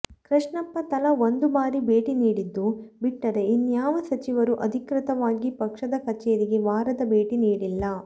ಕೃಷ್ಣಪ್ಪ ತಲಾ ಒಂದು ಬಾರಿ ಭೇಟಿ ನೀಡಿದ್ದು ಬಿಟ್ಟರೆ ಇನ್ಯಾವ ಸಚಿವರೂ ಅಧಿಕೃತವಾಗಿ ಪಕ್ಷದ ಕಚೇರಿಗೆ ವಾರದ ಭೇಟಿ ನೀಡಿಲ್ಲ